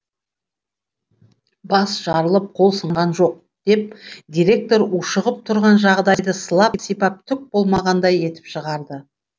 бас жарылып қол сынған жоқ деп директор ушығып тұрған жағдайды сылап сипап түк болмағандай етіп шығарды